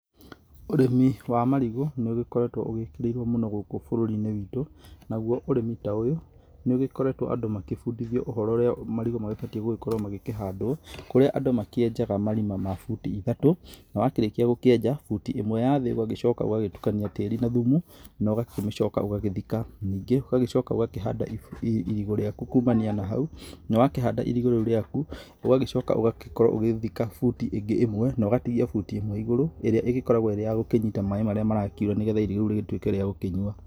Ũrĩmi wa marigũ nĩ ũgĩkoretwo ũgĩkĩrĩimwo mũno gũkũ bũrũri-inĩ witũ, naguo ũrimi ta ũyũ nĩ ũgĩkoretwo andũ magĩbundithio ũhoro ũrĩa marigũ magĩbatiĩ gũkorwo magĩkĩhandwo kũrĩa andũ makĩenjaga marima ma buti ithatũ, na wakĩrĩkia gũkĩenja butĩ ĩmwe ya thĩ ũgagĩcoka ũgatukania tĩri na thumu na ũgagĩcoka ũgagĩthika, ningĩ ũgagĩcoka ũgakĩhanda irigũ rĩaku kumania na hau, na wakĩhanda irigũ rĩaku ũgagĩcoka ũgagĩkorwo ũgĩthika buti ĩngĩ ĩmwe na ũgatigia ĩmwe igũrũ ĩrĩa ĩgĩkoragwo ĩrĩ ya kũnyita maaĩ marĩa marakiura nĩgetha irigũ rĩu rĩgĩtuĩke rĩa gũkĩnyua.